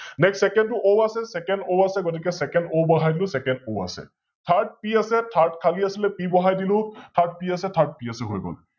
NextSecond টো O আছে SecondO আছে গতিকে SecondO বহাই দিলো SecondO আছে ThirdP আছে Third খালি আছিলে, P বহাই দিলো ThirdP আছে ThirdP আছে হৈ গল